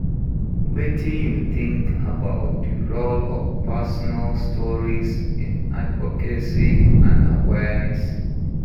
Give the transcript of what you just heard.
Wetin you think about di role of personal stories in advocacy and awareess?